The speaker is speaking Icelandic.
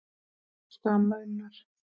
Elsku amma Unnur.